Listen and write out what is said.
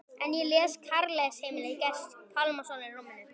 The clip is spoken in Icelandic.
En ég les Kærleiksheimili Gests Pálssonar í rúminu.